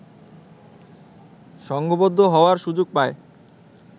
সংঘবদ্ধ হওয়ার সুযোগ পায়